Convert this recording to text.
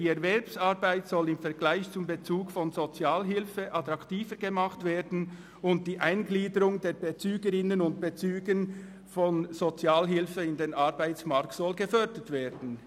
«Die Erwerbsarbeit soll im Vergleich zum Bezug von Sozialhilfe attraktiver gemacht werden und die Eingliederung der Bezügerinnen und Bezüger von Sozialhilfe in den Arbeitsmarkt soll gefördert werden.